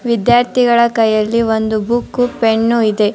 ವಿದ್ಯಾರ್ಥಿಗಳ ಕೈಯಲ್ಲಿ ಒಂದು ಬುಕ್ ಪೆನ್ ಇದೆ .